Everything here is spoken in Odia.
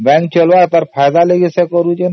bank ଫାଇଦା ପାଇଁ ସିନା ଏସବୁ କରୁଛି